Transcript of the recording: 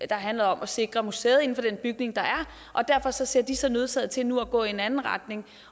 der handlede om at sikre hjælp til museet inden for den bygning der er derfor ser de sig nødsaget til nu at gå i en anden retning